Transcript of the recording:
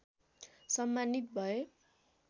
सम्मानित भए